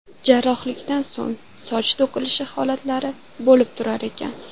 Jarrohlikdan so‘ng soch to‘kilish holatlari bo‘lib turar ekan.